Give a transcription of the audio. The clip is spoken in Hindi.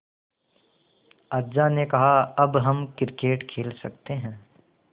अज्जा ने कहा अब हम क्रिकेट खेल सकते हैं